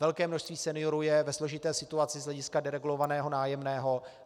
Velké množství seniorů je ve složité situaci z hlediska deregulovaného nájemného.